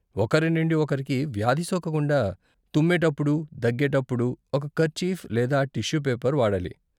ఒకరి నుండి ఒకరికి వ్యాధి సోకకుండా తుమ్మేటప్పుడు, దగ్గేటప్పుడు ఒక కర్చీఫ్ లేదా టిష్యూ పేపర్ వాడాలి.